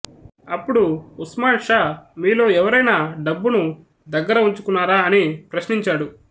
అప్పుడు ఉస్మాన్ షా మీలో ఎవరైనా డబ్బును దగ్గర ఉంచుకున్నారా అని ప్రశ్నించాడు